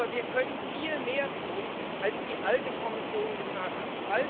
Aber wir können viel mehr tun, als die alte Kommission getan hat.